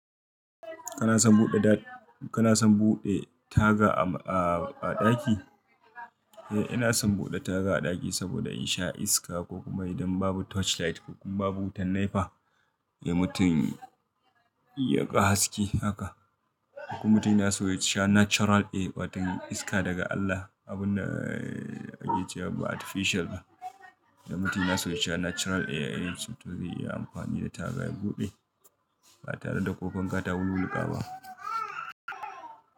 Kana son buɗe taga a ɗaki? Eh, ina son buɗe taga a ɗaki saboda in sha iska ko kuma idan babu torchlight ko kuma babu wutan nepa, eh mutun yaga haske haka. Ko mutum yana so ya sha natural air, wata iska daga Allah, abun da ake cewa ba artificial ba. Idan mutum yana so ya sha natural air, shi to zai iya amfani da taga ya buɗe ba tare da ko fanka ta wuwwulƙa ba.